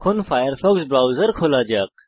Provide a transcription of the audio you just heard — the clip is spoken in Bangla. ফায়ারফক্স ব্রাউজার খোলা যাক